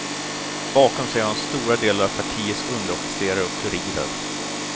Bakom sig har han stora delar av partiets underofficerare och furirer.